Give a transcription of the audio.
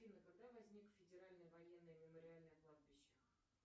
афина когда возникло федеральное военное мемориальное кладбище